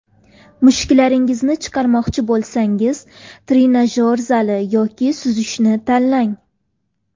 Mushaklaringizni chiqarmoqchi bo‘lsangiz trenajyor zali yoki suzishni tanlang.